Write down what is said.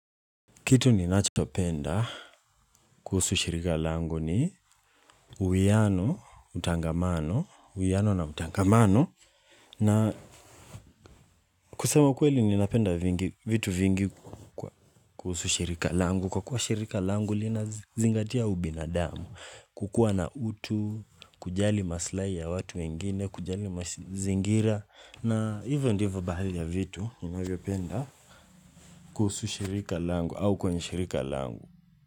Kitu ninachopenda kuhusu shirika langu ni uiano, utangamano, uiano na utangamano. Kusema ukweli ninapenda vitu vingi kuhusu shirika langu. Kwa kuwa shirika langu linazingatia ubinadamu, kukuwa na utu, kujali maslahi ya watu wengine, kujali mazingira. Na ivo ndivo baadhi ya vitu ninavyopenda kuhusu shirika langu au kwenye shirika langu.